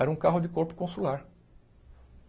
Era um carro de corpo consular.